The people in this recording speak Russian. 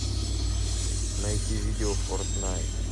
найти видео фортнайт